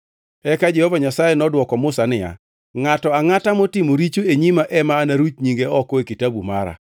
Eka Jehova Nyasaye nodwoko Musa niya, “Ngʼato angʼata motimo richo e nyima ema anaruch nyinge oko e kitabu mara.